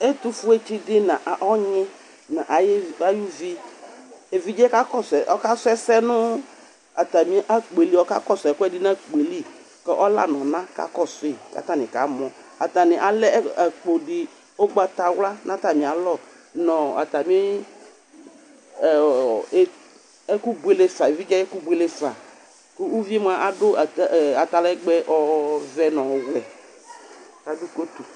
Ɛtʊfoetsi dɩ nʊ ɔnyɩ nʊ ayʊ uvi Evidze yɛ ka sʊ ɛsɛ nʊ, ɔka kɔsʊ ɛkʊɛdɩ nʊ akpo yɛ li, kʊ ɔla nʊ ɔna ka kɔsʊ yi kʊ atanani kamɔ Atanɩ alɛ akpo di ʊgbatawla nʊ atami alɔ nʊ evidze ayʊ ɛkʊbwelefa Kʊ uviyɛ adʊ atalɛgbɛ ɔvɛ nʊ ɔwɛ Kʊ uvi adʊ kotʊ